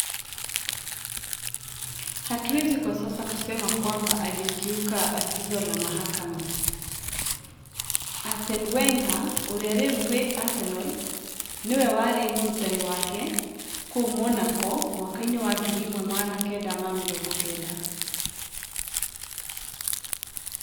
Hatuwezi kwa sasa kusema kwamba alikiuka agizo la mahakama''. Arsene Wenger, ũrĩa rĩu wĩ Arsenal, nĩ we warĩ mũrutani wake kũu Monaco mĩaka-inĩ ya 1990.